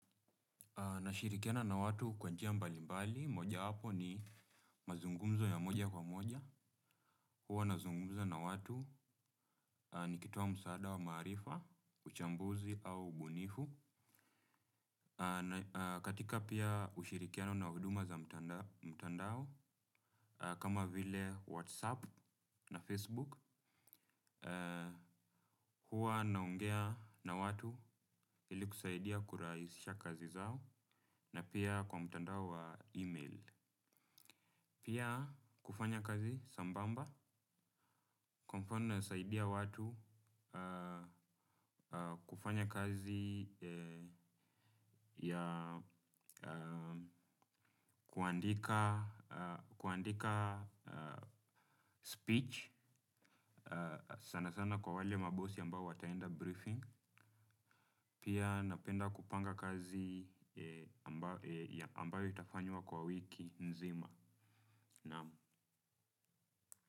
Na shirikiana na watu kwa njia mbali mbali, moja wapo ni mazungumzo ya moja kwa moja, huwa nazungumza na watu nikitoa msaada wa maarifa, uchambuzi au ubunifu. Katika pia ushirikiano na huduma za mtandao, kama vile Whatsapp na Facebook, huwa naongea na watu ili kusaidia kurahisisha kazi zao na pia kwa mtandao wa email. Pia kufanya kazi sambamba, kwa mfano nasaidia watu kufanya kazi ya kuandika speech sana sana kwa wale mabosi ambao wataenda briefing. Pia napenda kupanga kazi ambao itafanywa kwa wiki nzima.